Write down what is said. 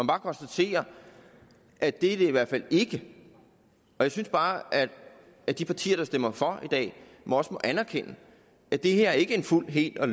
bare konstatere at det er det i hvert fald ikke jeg synes bare at de partier der stemmer for i dag også må erkende at det her ikke er en fuld hel og